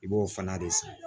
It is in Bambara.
I b'o fana de san